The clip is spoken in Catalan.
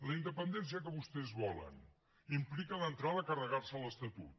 la independència que vostès volen implica d’entrada carregarse l’estatut